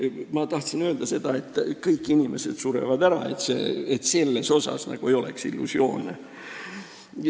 Ma tahan selle peale öelda, et kõik inimesed surevad ära, siin ei peaks olema illusioone.